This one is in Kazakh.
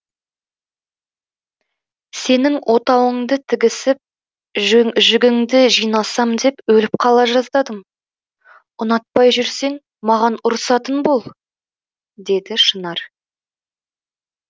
сенің отауыңды тігісіп жүгіңді жинасам деп өліп қала жаздадым ұнатпай жүрсең маған ұрсатын бол деді шынар